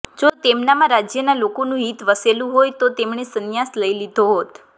જો તેમનામાં રાજ્યનાં લોકોનું હીત વસેલું હોય તો તેમણે સંન્યાસ લઈ લીધો હોત